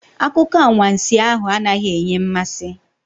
Akụkọ anwansi ahụ anaghị enye mmasị.